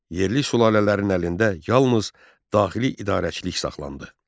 Yerli sülalələrin əlində yalnız daxili idarəçilik saxlandı.